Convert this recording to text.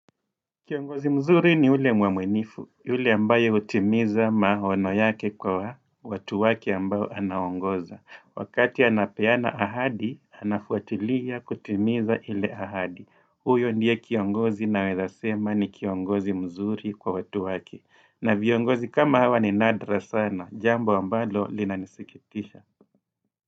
Kiongozi mzuri ni ule mwaminifu. Yule ambaye hutimiza maono yake kwa watu wake ambao anaongoza. Wakati anapeana ahadi, anafuatilia kutimiza ile ahadi. Huyo ndiye kiongozi nawezasema ni kiongozi mzuri kwa watu wake. Na viongozi kama hawa ni nadra sana. Jambo ambalo linanisikitisha.